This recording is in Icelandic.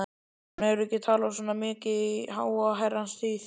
Hún hefur ekki talað svona mikið í háa herrans tíð.